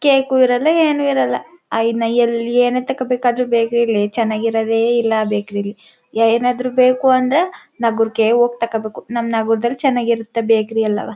cake ಇರಲ್ಲ ಏನೂ ಇರಲ್ಲ ಅಯನ ಎಲ್ಲಿ ಏನು ತಕೋಬೇಕಾದ್ರು ಬೇಕರಿ ಯಲ್ಲಿ ಚೆನ್ನಾಗಿರೋದೇ ಇಲ್ಲ ಬೇಕರಿ ಯಲ್ಲಿ ಯಾ ಏನಾದ್ರು ಬೇಕು ಅಂದ್ರೆ ನಗರಕ್ಕೆ ಹೋಗಿ ತಗೋಬೇಕು ನಮ್ಮ್ ನಗರದಲ್ಲಿ ಚೆನ್ನಾಗಿರತ್ತೆ ಬೇಕರಿ ಎಲ್ಲಾವ--